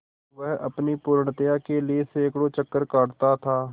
वह अपनी पूर्णता के लिए सैंकड़ों चक्कर काटता था